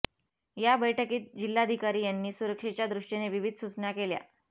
या बैठकीत जिल्हाधिकारी यांनी सुरक्षेच्या दृष्टीने विविध सूचना केल्या